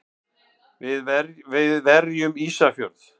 Við verjum Ísafjörð!